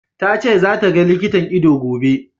Ta ce za ta ga likitan ido, gobe.